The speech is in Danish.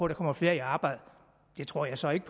der kommer flere i arbejde det tror jeg så ikke